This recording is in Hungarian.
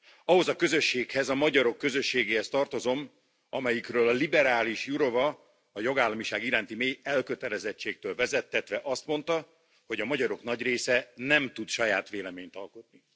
Ahhoz a közösséghez, a magyarok közösségéhez tartozom, amelyikről a liberális Jourová a jogállamiság iránti mély elkötelezettségtől vezettetve, azt mondta, hogy a magyarok nagy része nem tud saját véleményt alkotni.